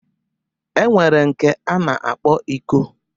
E nwere nke a na-akpọ iko